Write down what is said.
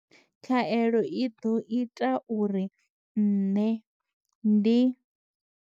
Khaelo i ḓo ita uri nṋe ndi.